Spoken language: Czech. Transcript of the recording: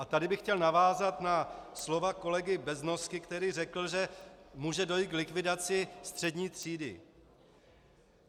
A tady bych chtěl navázat na slova kolegy Beznosky, který řekl, že může dojít k likvidaci střední třídy.